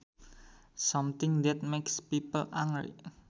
Something that makes people angry